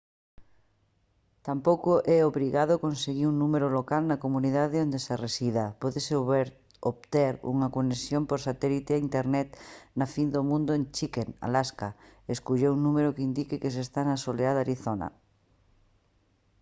tampouco é obrigado conseguir un número local na comunidade onde se resida; pódese obter unha conexión por satélite a internet na fin do mundo en chicken alaska e escoller un número que indique que se está na soleada arizona